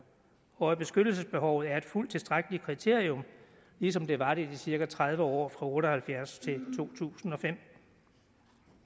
og at beskyttelsesbehov er et fuldt tilstrækkeligt kriterium ligesom det var det i de cirka tredive år otte og halvfjerds til to tusind og fem